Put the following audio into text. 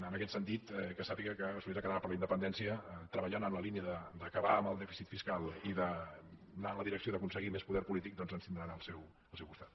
en aquest sentit que sàpiga que solidaritat catalana per la independència treballant en la línia d’acabar amb el dèficit fiscal i d’anar en la direcció d’aconseguir més poder polític doncs ens tindran al seu costat